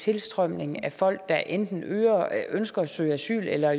tilstrømning af folk der enten ønsker at søge asyl eller